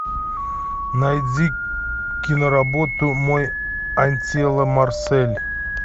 найди киноработу мой аттила марсель